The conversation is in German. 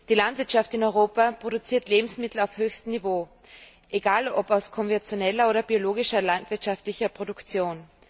Die Landwirtschaft in Europa produziert Lebensmittel auf höchstem Niveau, egal ob aus konventioneller oder biologischer landwirtschaftlicher Produktion.